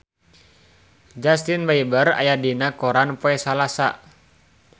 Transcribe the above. Justin Beiber aya dina koran poe Salasa